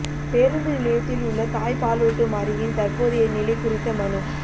பேருந்து நிலையத்தில் உள்ள தாய்ப்பாலூட்டும் அறையின் தற்போதைய நிலை குறித்த மனு